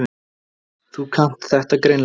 Þú kannt þetta greinilega.